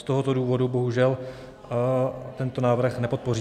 Z tohoto důvodu bohužel tento návrh nepodpoříme.